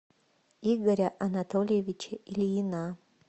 игоря анатольевича ильина